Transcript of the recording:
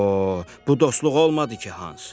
“Paho, bu dostluq olmadı ki, Hans!